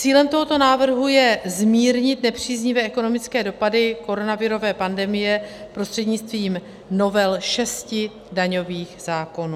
Cílem tohoto návrhu je zmírnit nepříznivé ekonomické dopady koronavirové pandemie prostřednictvím novel šesti daňových zákonů.